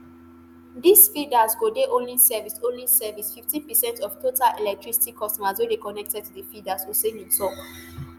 dis feeders go dey only service only service fifteen per cent of total electricity customers wey dey connected to di feeders oseni tok